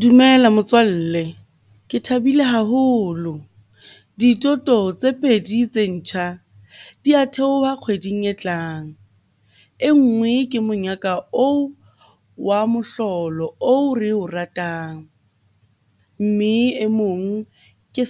Dumela motswalle, ke thabile haholo. Dithoto tse pedi tse ntjha di a theoha kgweding e tlang. E nngwe ke monyaka oo wa mohlolo oo re o ratang. Mme e mong ke